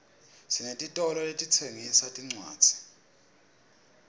sinetitolo letitsengisa tincwadzi